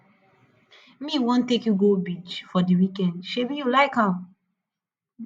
me wan take you go beach for di weekend sebi you like am